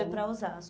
Foi para Osasco.